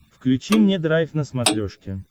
включи мне драйв на смотрешке